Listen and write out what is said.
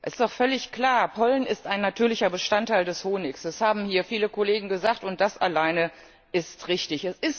Es ist doch völlig klar Pollen ist ein natürlicher Bestandteil des Honigs. Das haben hier viele Kollegen gesagt, und das alleine ist richtig.